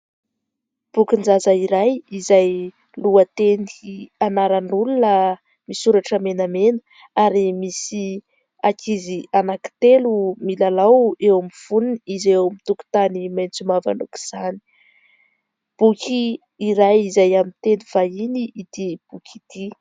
Bokin- jaza iray, izay lohateny anaran'olona misoratra menamena ary misy ankizy anankitelo milalao eo amin'ny fonony ireo eo amin'ny tokotany maitso mavana aoka izany, boky iray izay amin'ny teny vahiny ity boky ity.